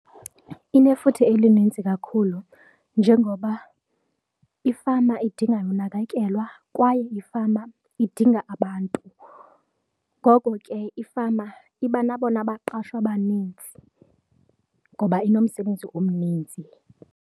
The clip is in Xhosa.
Inefuthe elinintsi kakhulu njengoba ifama idinga unakekelwa kwaye ifama idinga abantu, ngoko ke ifama iba nabona baqashwa banintsi ngoba inomsebenzi omninzi.